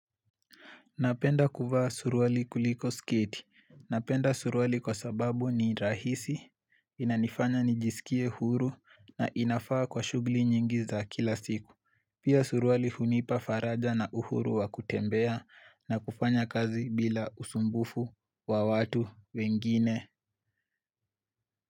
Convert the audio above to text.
Napenda kufaa suruali kuliko skiti. Napenda suruali kwa sababu ni rahisi, inanifanya nijisikie huru na inafaa kwa shughuli nyingi za kila siku. Pia suruali hunipa faraja na uhuru wa kutembea na kufanya kazi bila usumbufu wa watu wengine.